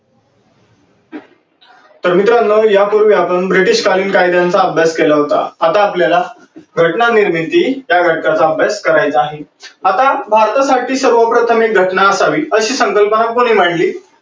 तर मित्रांनो या पूर्वी आपण ब्रिटीश कालीन कायद्यांचा अभ्यास केला होता. आता आपल्याला घटना निर्मिती या घटकाचा अभ्यास करायचा आहे. आता भारतासाठी सर्वत्र पने एक घटना असावी अशी संकल्पना कोणी काढली